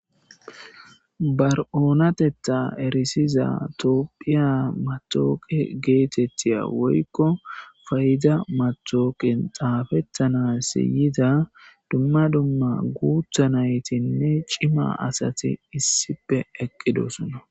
Ba oonatetha erisiya tophiya matawuqiya geetetiya woyko payda matawuqiya xaapetanas yiza dumma dumma guutha naytinna cima asi issipe doosona.